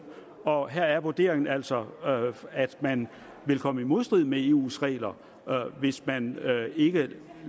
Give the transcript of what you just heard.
og at her er vurderingen altså at man vil komme i modstrid med eus regler hvis man ikke